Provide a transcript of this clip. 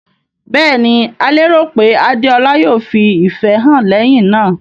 Bẹ́ẹ̀ ni, a lérò pé Adeola yóò fi ìfẹ́ hàn lẹ́yìn náà.